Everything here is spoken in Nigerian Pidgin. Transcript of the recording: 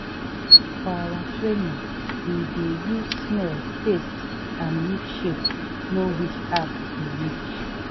for our training we dey use smell taste and leaf shape know which herb be which.